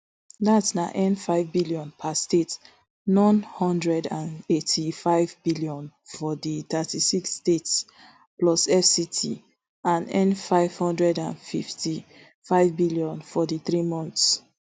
dat na nfive billion per state n one hundred and eighty-five billion for di thirty-six states plus fct and nfive hundred and fifty-five billion for di three months